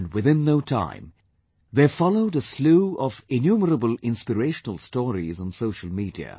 And within no time, there followed a slew of innumerable inspirational stories on social media